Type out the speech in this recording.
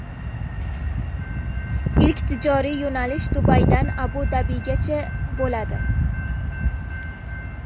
Ilk tijoriy yo‘nalish Dubaydan Abu-Dabigacha bo‘ladi.